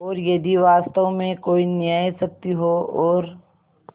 और यदि वास्तव में कोई न्यायशक्ति हो और